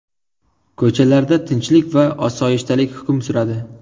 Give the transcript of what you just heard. Ko‘chalarda tinchlik va osoyishtalik hukm suradi.